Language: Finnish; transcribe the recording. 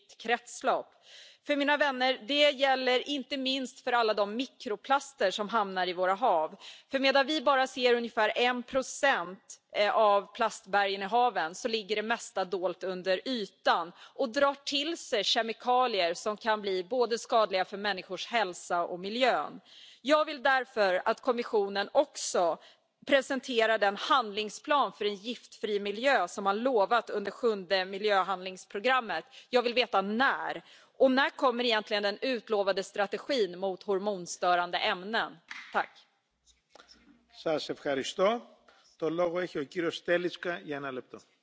huolestuttava tieto, että edelleen vain 30 prosenttia muovista kierrätetään, noin 30 prosenttia menee kaatopaikoille ja noin 30 prosenttia menee poltettavaksi. Tärkein tavoite on nyt pyrkiä kokonaan estämään muovijätteen syntyminen. Sillä on sekä talouden että ympäristön kannalta iso vaikutus. Meillä on jo paljon meneillään asian eteen. Uusi jätedirektiivi velvoittaa jäsenmaat järjestämään muoville kierrätyksen ja lajittelun.